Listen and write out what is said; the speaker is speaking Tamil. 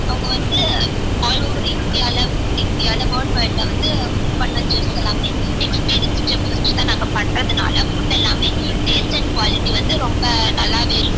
அவங்க வந்து all over India ல world wide ல வந்து cook பண்ண chefs எல்லாமே experience chef வச்சி தான் நாங்க பண்றதுனால food எல்லாமே taste and quality வந்து ரொம்ப நல்லாவே இருக்கும்